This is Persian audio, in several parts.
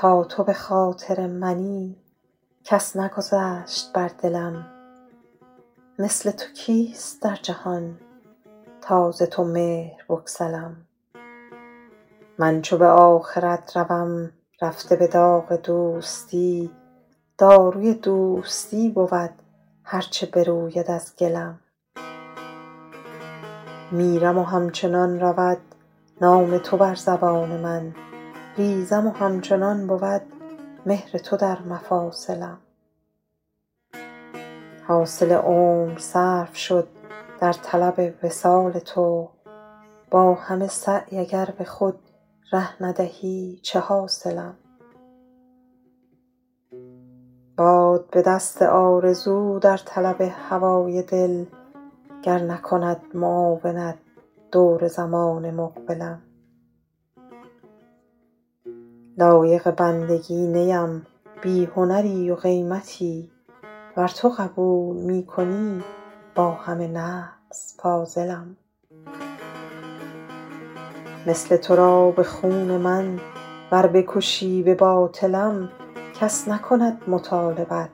تا تو به خاطر منی کس نگذشت بر دلم مثل تو کیست در جهان تا ز تو مهر بگسلم من چو به آخرت روم رفته به داغ دوستی داروی دوستی بود هر چه بروید از گلم میرم و همچنان رود نام تو بر زبان من ریزم و همچنان بود مهر تو در مفاصلم حاصل عمر صرف شد در طلب وصال تو با همه سعی اگر به خود ره ندهی چه حاصلم باد بدست آرزو در طلب هوای دل گر نکند معاونت دور زمان مقبلم لایق بندگی نیم بی هنری و قیمتی ور تو قبول می کنی با همه نقص فاضلم مثل تو را به خون من ور بکشی به باطلم کس نکند مطالبت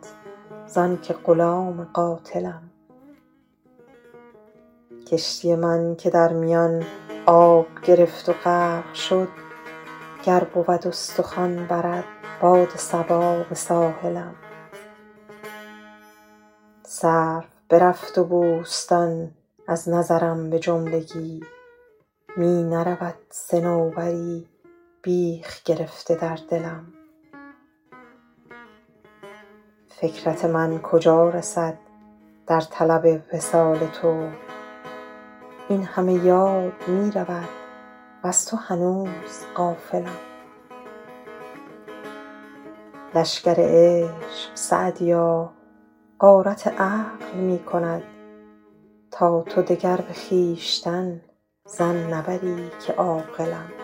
زان که غلام قاتلم کشتی من که در میان آب گرفت و غرق شد گر بود استخوان برد باد صبا به ساحلم سرو برفت و بوستان از نظرم به جملگی می نرود صنوبری بیخ گرفته در دلم فکرت من کجا رسد در طلب وصال تو این همه یاد می رود وز تو هنوز غافلم لشکر عشق سعدیا غارت عقل می کند تا تو دگر به خویشتن ظن نبری که عاقلم